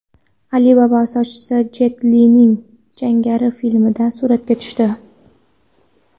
Alibaba asoschisi Jet Lining jangari filmida suratga tushdi.